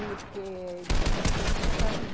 E porque ele tinha que ser responsável.